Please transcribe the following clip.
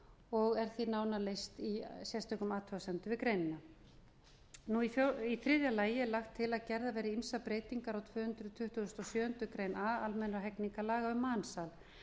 og er því nánar lýst í sérstökum athugasemdum við greinina í þriðja lagi er lagt til að gerðar verði ýmsar breytingar á tvö hundruð tuttugustu og sjöundu grein a almennra hegningarlaga um mansal